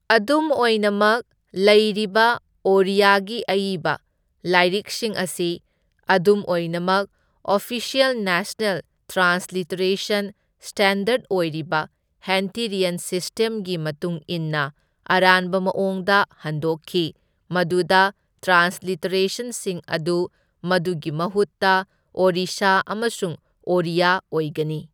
ꯑꯗꯨꯝ ꯑꯣꯏꯅꯃꯛ, ꯂꯩꯔꯤꯕ ꯑꯣꯔꯤꯌꯥꯒꯤ ꯑꯏꯕ ꯂꯥꯏꯔꯤꯛꯁꯤꯡ ꯑꯁꯤ ꯑꯗꯨꯝ ꯑꯣꯏꯅꯃꯛ ꯑꯣꯐꯤꯁꯤꯑꯦꯜ ꯅꯦꯁꯅꯦꯜ ꯇ꯭ꯔꯥꯟꯁꯂꯤꯇꯦꯔꯦꯁꯟ ꯁ꯭ꯇꯦꯟꯗꯔꯗ ꯑꯣꯏꯔꯤꯕ ꯍꯟꯇꯦꯔꯤꯌꯟ ꯁꯤꯁꯇꯦꯝꯒꯤ ꯃꯇꯨꯡ ꯏꯟꯅ ꯑꯔꯥꯟꯕ ꯃꯑꯣꯡꯗ ꯍꯟꯗꯣꯛꯈꯤ, ꯃꯗꯨꯗ ꯇ꯭ꯔꯥꯟꯁꯂꯤꯇꯦꯔꯦꯁꯟꯁꯤꯡ ꯑꯗꯨ ꯃꯗꯨꯒꯤ ꯃꯍꯨꯠꯇ ꯑꯣꯔꯤꯁꯥ ꯑꯃꯁꯨꯡ ꯑꯣꯔꯤꯌꯥ ꯑꯣꯏꯒꯅꯤ꯫